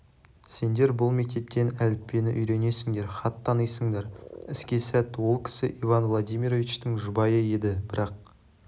сендер бұл мектептен әліппені үйренесіңдер хат танисыңдар іске сәт ол кісі иван владимировичтің жұбайы еді бірақ